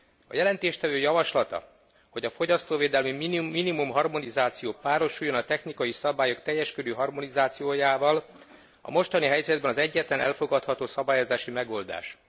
A jelentéstevő javaslata, hogy a fogyasztóvédelmi minimumharmonizáció párosuljon a technikai szabályok teljes körű harmonizációjával, a mostani helyzetben az egyetlen elfogadható szabályozási megoldás.